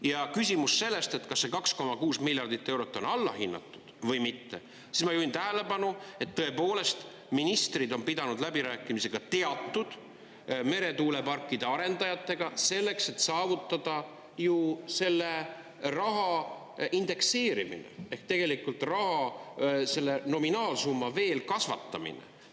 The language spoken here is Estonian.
Ja küsimus sellest, et kas see 2,6 miljardit eurot on allahinnatud või mitte, siis ma juhin tähelepanu, et tõepoolest, ministrid on pidanud läbirääkimisi ka teatud meretuuleparkide arendajatega selleks, et saavutada ju selle raha indekseerimine, ehk tegelikult raha, selle nominaalsumma veel kasvatamine.